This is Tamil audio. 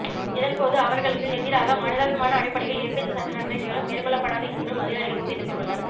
இதன்போது அவர்களுக்கு எதிராக மனிதாபிமான அடிப்படையில் எவ்வித சட்டநடவடிக்கைகளும் மேற்கொள்ளப்படாது என்றும் அதிகாரிகள் உறுதியளித்துள்ளனர்